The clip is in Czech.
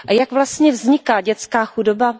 Jak vlastně vzniká dětská chudoba?